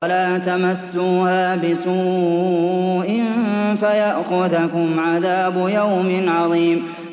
وَلَا تَمَسُّوهَا بِسُوءٍ فَيَأْخُذَكُمْ عَذَابُ يَوْمٍ عَظِيمٍ